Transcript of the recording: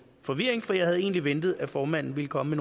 forvirring for jeg havde egentlig ventet at formanden ville komme